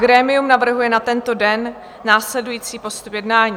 Grémium navrhuje na tento den následující postup jednání.